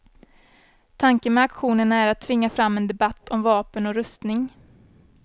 Tanken med aktionerna är att tvinga fram en debatt om vapen och rustning.